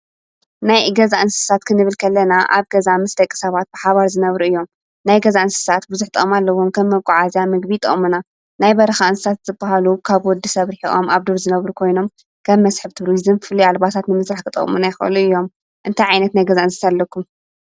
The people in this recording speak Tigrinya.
ናይ ገዛ እንስሳት ክንብልክለና ኣብ ገዛ ምስ ደቂ ሰባት ብሓባር ዝነብሩ እዮም። ናይ ገዛእንስሳት ብዙኅጦመ ኣለዎም ከም መቁዓእዚያ ምግቢ ጠሙና ናይ በርኻእንሳት ዝብሃሉ ካብ ወዲ ሰብርኂሒቆም ኣብ ዱር ዝነብሩ ኮይኖም ከብ መስሕብቲ ብርይዝም ፍል ኣልባሳት ንምሥራሕ ክጠሙና ይኸሉ እዮም እንታይ ዓይነት ናይ ገዛእንስሳ ኣለኩም?